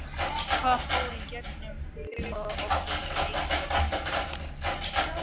Hvað fór í gegnum huga okkar í leikhlé?